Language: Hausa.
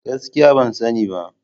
Gaskiya! Ban sani ba.